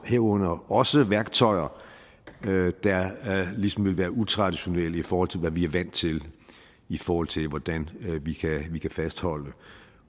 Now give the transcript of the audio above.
herunder også værktøjer der ligesom vil være utraditionelle i forhold til hvad vi er vant til i forhold til hvordan vi kan vi kan fastholde